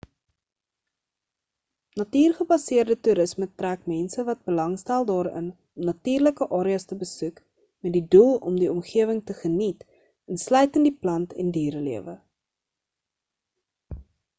natuurgebaseerde toerisme trek mense wat belangstel daarin om natuurlike areas te besoek met die doel om die omgewing te geniet insluitend die plant en diere lewe